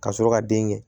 Ka sɔrɔ ka den kɛ